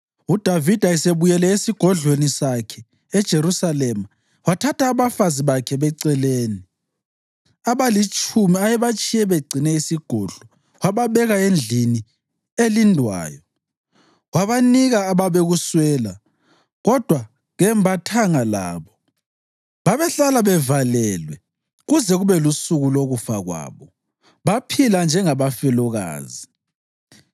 UDavida esebuyele esigodlweni sakhe eJerusalema, wathatha abafazi bakhe beceleni abalitshumi ayebatshiye begcine isigodlo wababeka endlini elindwayo. Wabanika ababekuswela, kodwa kembathanga labo. Babehlala bevalelwe kuze kube lusuku lokufa kwabo, baphila njengabafelokazi.